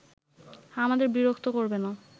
আমাদের বিরক্ত করবে না